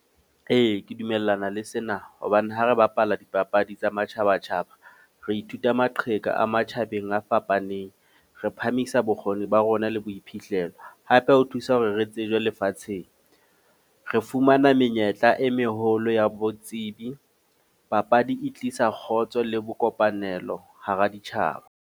Ee, ke dumellana le sena. Hobane ha re bapala dipapadi tsa matjhaba-tjhaba. Re ithuta maqheka a matjhabeng a fapaneng. Re phamisa bokgoni ba rona le boiphihlelo. Hape ho thusa hore re tsejwe lefatsheng. Re fumana menyetla e meholo ya botsebi. Papadi e tlisa kgotso le bo kopanelo hara ditjhaba.